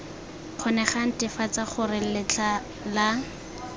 kgonegang netefatsa gore letlha la